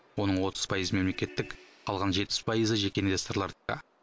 оның отыз пайызы мемлекеттік қалған жетпіс пайызы жеке инвесторлардікі